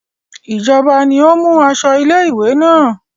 Ìjọba ni ó mú aṣọ ilé-ìwé náà.